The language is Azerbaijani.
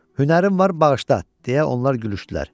Hünərin var, bağışla! – deyə onlar gülüşdülər.